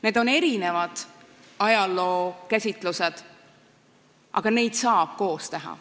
Need on erinevad ajalookäsitlused, aga need saavad koos olla.